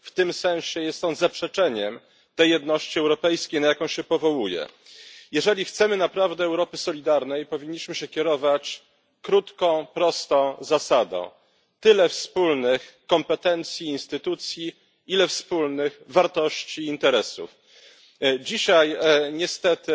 W tym sensie jest on zaprzeczeniem tej jedności europejskiej, na jaką się powołuje. Jeżeli chcemy naprawdę Europy solidarnej, powinniśmy się kierować krótką, prostą zasadą tyle wspólnych kompetencji, instytucji, ile wspólnych wartości i interesów. Dzisiaj niestety